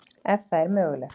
Ef það er mögulegt.